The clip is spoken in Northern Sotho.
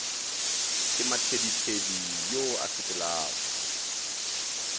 ke mathedithedi yo a sepelago